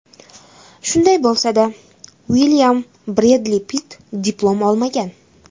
Shunday bo‘lsa-da, Uilyam Bredli Pitt diplom olmagan.